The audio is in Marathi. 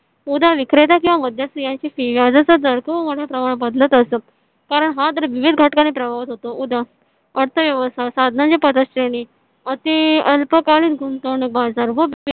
उद्या विक्रेता किंवा मध्य स्त्रियांची व्याजाचा दर खूप मोठ्या प्रमाणात बदलत असतो कारण हा तर विविध घटकांनी होतो. उद्या अर्थव्यवस्था अति अल्पकालीन गुंतवणूक बाजार